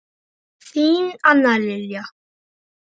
Þín Anna Lilja.